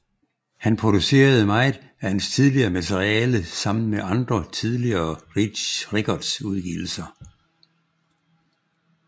Han producerede meget af hans tidligere materiale sammen med andre tidlige Reach Records udgivelser